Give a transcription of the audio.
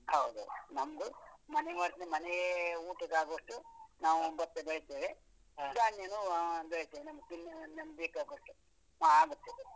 ಹೌದು ನಮ್ದು ಮನೆ ಹೋದ್ಮೇಲೆ ಮನೆ ಅವರದ್ದು ಊಟಗಾಗುವಷ್ಟು ನಾವು ಭತ್ತ ಬೆಳೆಸ್ತೇವೆ. ಧಾನ್ಯನ್ನು ಅಹ್ ಬೆಳೆಸ್ತೇವೆ ನಮಗೆ ತಿನ್ನೋ, ನಮಗೆ ಬೇಕಾಗುವಷ್ಟು .